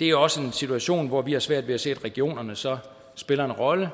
det er også en situation hvor vi har svært ved at se at regionerne så spiller en rolle